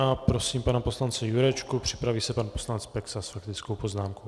A prosím pana poslance Jurečku, připraví se pak poslanec Peksa s faktickou poznámkou.